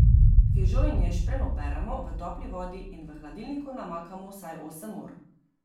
Fižol in ješprenj operemo v topli vodi in v hladilniku namakamo vsaj osem ur.